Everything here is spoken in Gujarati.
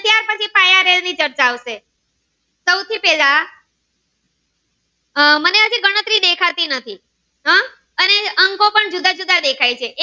વિગત આવશે સૌથી પેલા આહ મને હજુ ગણતરી દેખાતી નથી આહ જુદા જુદા દેખાય છે